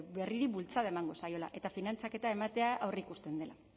berriri bultzada emango zaiola eta finantzaketa ematea aurreikusten dela